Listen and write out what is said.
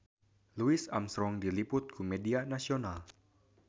Louis Armstrong diliput ku media nasional